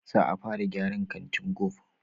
Za a fara gyaran kantin gove